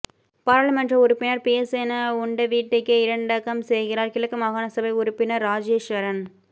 பாராளுமன்ற உறுப்பினர் பியசேன உண்ட வீட்டுக்கே இரண்டகம் செய்கிறார் கிழக்கு மாகாணசபை உறுப்பினர் இராஜேஸ்வரன்